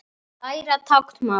Læra táknmál